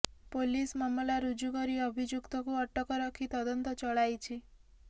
police ମାମଲା ରୁଜୁ କରି ଅଭିଯୁକ୍ତକୁ ଅଟକ ରଖି ତଳନ୍ତ ଚଳାଇଛି